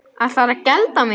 Ætlarðu að gelda mig?